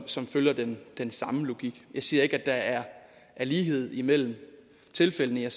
som følger den samme logik jeg siger ikke at der er lighed mellem tilfældene jeg